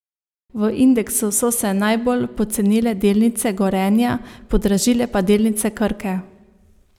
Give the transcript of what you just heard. V indeksu so se najbolj pocenile delnice Gorenja, podražile pa delnice Krke.